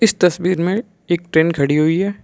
तस्वीर में एक ट्रेन खड़ी हुई है।